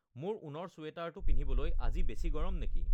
মোৰ ঊণৰ ছুৱেটাৰটো পিন্ধিবলৈ আজি বেছি গৰম নেকি